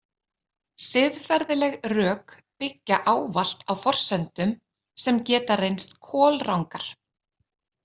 Siðferðileg rök byggja ávallt á forsendum sem geta reynst kolrangar.